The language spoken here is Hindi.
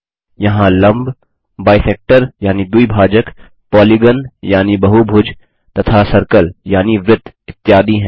यहाँ लंब बाइसेक्टर यानि द्विभाजक पालिगान यानि बहुभुज तथा सर्कल यानि वृत्त इत्यादि हैं